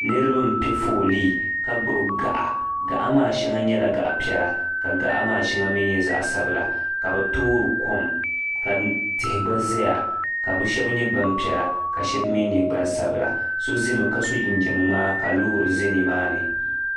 Niriba m piɛ foolii ka gbibi gaɣa gaɣa maa sheŋa nyɛla zaɣa piɛla ka gaɣa maa sheŋa nyɛ zaɣa sabila ka bɛ toori kom ka tihi gba zaya ka bɛ sheba nyɛ gbampiɛla ka sheba mee nyɛ gbansabla so ʒimi ka so jinjiɛm ŋmaa ka loori za nimaani.